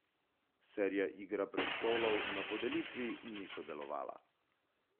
Serija Igra prestolov na podelitvi ni sodelovala.